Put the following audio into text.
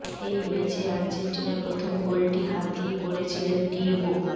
এই ম্যাচে আর্জেন্টিনার প্রথম গোলটি হাত দিয়ে করেছিলেন ডিয়েগো